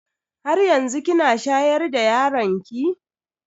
Haryanzu kina shayar da yaron ki?